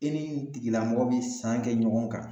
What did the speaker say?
E ni nin tigilamɔgɔ bi san kɛ ɲɔgɔn kan